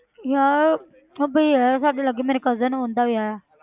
ਯਾਰ ਉਹ ਭਈਆ ਦਾ, ਸਾਡੇ ਲਾਗੇ ਮੇਰੇ cousin ਆ ਉਹਨਾਂ ਦਾ ਵਿਆਹ ਆ।